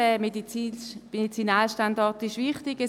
Der Medizinalstandort ist wichtig.